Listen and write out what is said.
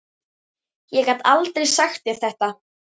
Ég gat aldrei sagt þér þetta.